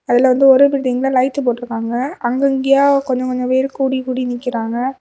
அதுல வந்து ஓரு பில்டிங்ல லைட்டு போட்ருக்காங்க அங்க அங்கையா கொஞ்ச கொஞ்ச பேரு கூடி கூடி நிக்கிறாங்க.